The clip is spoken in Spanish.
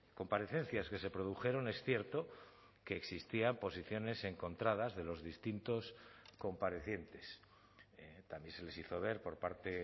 comparecencias que se produjeron es cierto que existían posiciones encontradas de los distintos comparecientes también se les hizo ver por parte